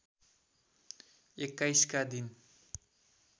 २१ का दिन